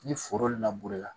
Ni foro laburela